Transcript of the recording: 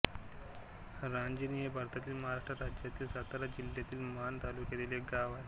रांजणी हे भारतातील महाराष्ट्र राज्यातील सातारा जिल्ह्यातील माण तालुक्यातील एक गाव आहे